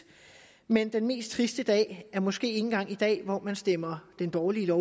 men den mest triste dag er måske ikke engang i dag hvor man stemmer det dårlige